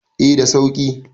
eh da sauki